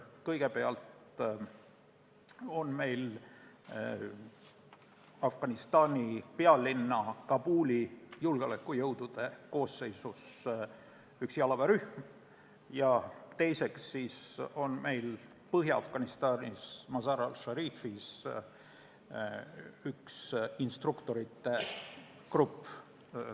Kõigepealt on meil Afganistani pealinna Kabuli julgeolekujõudude koosseisus üks jalaväerühm ja teiseks on meil Põhja-Afganistanis Mazar-e Sharifis üks instruktorite grupp.